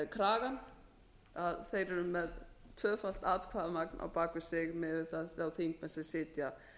kragann að þeir eru með tvöfalt atkvæðamagn á bak við sig miðað við þá þingmenn sem sitja